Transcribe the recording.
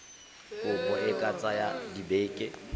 kopo e ka tsaya dibeke